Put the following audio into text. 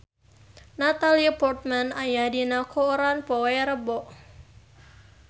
Natalie Portman aya dina koran poe Rebo